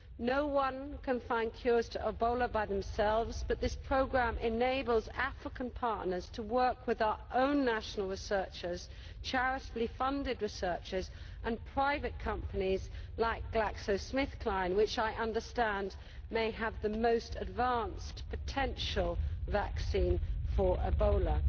No one can find cures to Ebola by themselves but this programme enables African partners to work with our own national researchers, both charitably funded researchers and private companies like Glaxo Smith Kline which, I understand, may have the most advanced potential vaccine for Ebola.